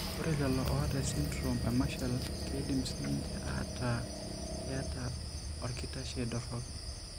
Ore lelo oata esindirom emarshall keidim siininche aataa keeta orkitashei dorop.